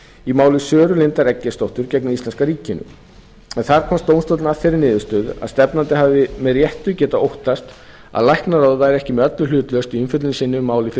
í máli söru lindar eggertsdóttur gegn íslenska ríkinu en þar komst dómstóllinn að þeirri niðurstöðu að stefnandi hefði með réttu getað óttast að læknaráð væri ekki með öllu hlutlaust í umfjöllun sinni um málið fyrir